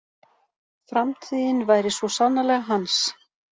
Framtíðin væri svo sannarlega hans.